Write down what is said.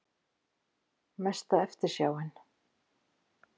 Mesta eftirsjáin?